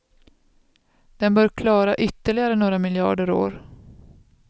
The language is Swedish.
Den bör klara ytterligare några miljarder år.